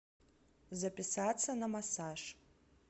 записаться на массаж